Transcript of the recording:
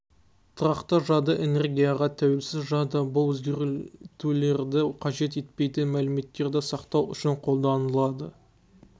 тұрақты жады энергияға тәуелсіз жады бұл өзгертулерді қажет етпейтін мәліметтерді сақтау үшін қолданылады